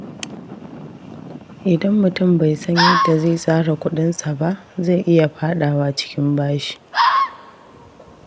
Idan mutum bai san yadda zai tsara kuɗinsa ba, zai iya faɗawa cikin bashi.